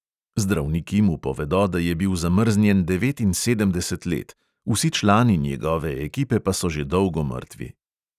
Zdravniki mu povedo, da je bil zamrznjen devetinsedemdeset let, vsi člani njegove ekipe pa so že dolgo mrtvi.